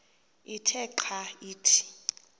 ithe xa ithi